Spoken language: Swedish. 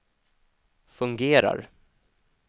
fungerar